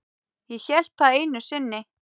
Ég hélt það einu sinni.